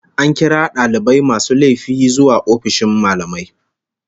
An kira dalibar mai laifi zuwa ofishin mallamai